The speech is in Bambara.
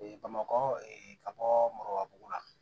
bamakɔ ka bɔ marowa la